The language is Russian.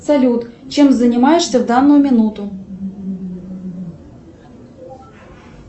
салют чем занимаешься в данную минуту